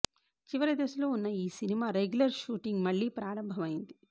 చివరి దశలో ఉన్న ఈ సినిమా రెగ్యులర్ షూటింగ్ మళ్ళీ ప్రారంభమైంది